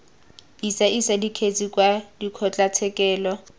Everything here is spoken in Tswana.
isa isa dikgetse kwa dikgotlatshekelo